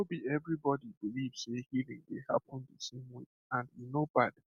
no be everybody believe say healing dey happen the same way and e no bad